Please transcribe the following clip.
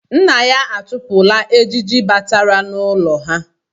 Nna ya achụpụla ejiji batara n’ụlọ ha.